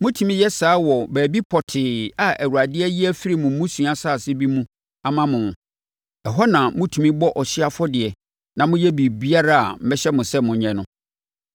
Motumi yɛ saa wɔ baabi pɔtee a Awurade ayi afiri mo mmusua asase bi mu ama mo. Ɛhɔ na motumi bɔ ɔhyeɛ afɔdeɛ na moyɛ biribiara a mɛhyɛ mo sɛ monyɛ no.